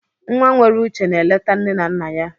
Nwa nwere uche na-eleta nne na nna ya.